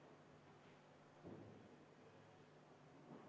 Palun!